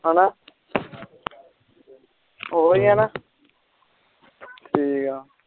ਹੈਨਾ ਓਇ ਹੈ ਨਾ